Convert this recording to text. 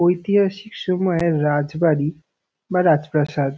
ঐতিহাসিক সময়ের রাজবাড়ি বা রাজপ্রাসাদ।